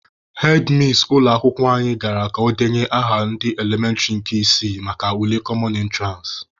Hedmis ụlọ akwụkwọ anyị gara ka o debanye aha ndị elementịrị nke isii maka ule kọmọn ịntụransị.